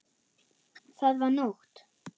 Það var nótt.